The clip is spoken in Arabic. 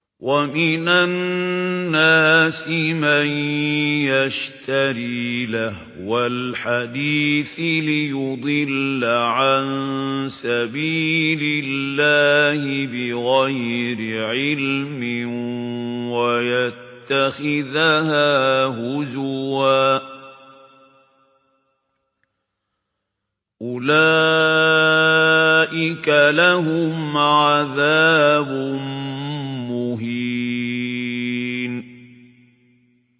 وَمِنَ النَّاسِ مَن يَشْتَرِي لَهْوَ الْحَدِيثِ لِيُضِلَّ عَن سَبِيلِ اللَّهِ بِغَيْرِ عِلْمٍ وَيَتَّخِذَهَا هُزُوًا ۚ أُولَٰئِكَ لَهُمْ عَذَابٌ مُّهِينٌ